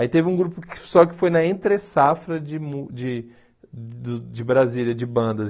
Aí teve um grupo só que foi na entre safra de mu de do de Brasília, de bandas.